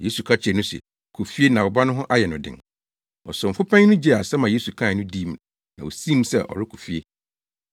Yesu ka kyerɛɛ no se, “Kɔ fie na wo ba no ho ayɛ no den!” Ɔsomfo panyin no gyee asɛm a Yesu kae no dii na osii mu sɛ ɔrekɔ fie.